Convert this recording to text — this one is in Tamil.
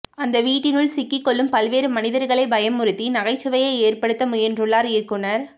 அந்த வீட்டினுள் சிக்கிக்கொள்ளும் பல்வேறு மனிதர்களைப் பயமுறுத்தி நகைச்சுவையை ஏற்படுத்த முயன்றுள்ளார் இயக்குநர்